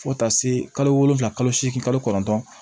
Fo ka taa se kalo wolofila kalo seegin kalo kɔnɔntɔn